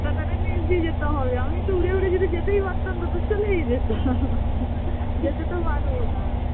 কাঁটা তারের নীচ দিয়ে যেতে হবে আমি তো উড়ে উড়ে যদি যেতেই পারতাম তো তো চলেই যেতাম যেতে তো পারবো না